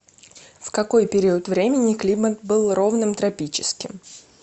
в какой период времени климат был ровным тропическим